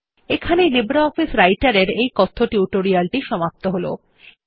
এখানেই লিব্রিঅফিস রাইটের এর এই কথ্য টিউটোরিয়াল টি সমাপ্ত হল